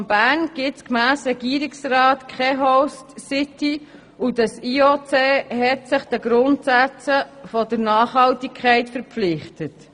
Wie der Regierungsrat darstellt, gibt es im Kanton Bern keine Host-City und das IOC hat sich den Grundsätzen der Nachhaltigkeit verpflichtet.